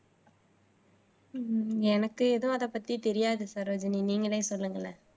எனக்கு எதுவும் அதைப் பத்தி தெரியாது சரோஜினி நீங்களே சொல்லுங்களேன்